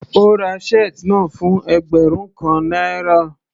Ó ra shirt náà fún ẹgbẹ́rún kan náírà.